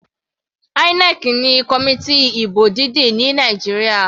INEC ni committee ìbò dídì ní Nàìjíríà.